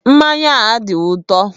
Mmanya ahụ adịghị ụtọ.